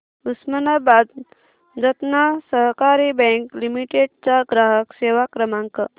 उस्मानाबाद जनता सहकारी bank limited चा ग्राहक सेवा क्रमांक